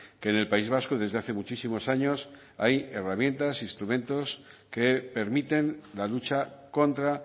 que en el país vasco desde hace muchísimos años hay herramientas instrumentos que permiten la lucha contra